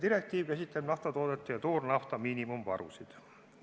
Direktiiv käsitleb naftatoodete ja toornafta miinimumvarusid.